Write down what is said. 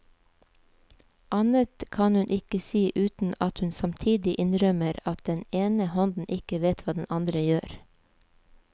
Annet kan hun ikke si uten at hun samtidig innrømmer at den ene hånden ikke vet hva den andre gjør.